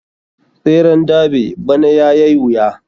Tseren derby bana yayai wuya.